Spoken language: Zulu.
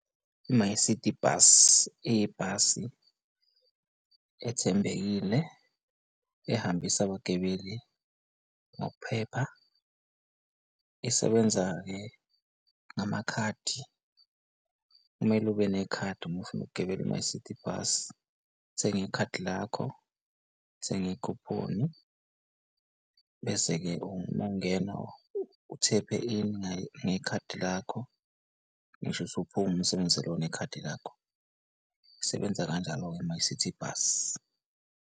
I-MyCiti Bus, iyibhasi ethembekile ehambisa abagibeli ngokuphepha. Isebenza-ke ngamakhadi, kumele ube nekhadi uma ufuna ukugibela i-MyCiti Bus uthenge ikhadi lakho, uthenge i-coupon-i, bese-ke uma ungena uthephe in ngekhadi lakho ngisho usuphuma usebenzise lona ikhadi lakho, isebenza kanjalo-ke i-MyCiti Bus.